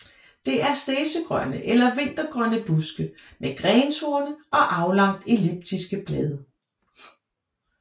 Det er stedsegrønne eller vintergrønne buske med grentorne og aflangt elliptiske blade